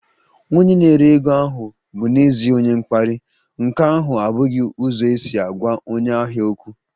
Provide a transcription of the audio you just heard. Onye na-ere ego ahụ bụ n'ezie onye mkparị, nke ahụ abụghị ụzọ isi gwa onye ahịa okwu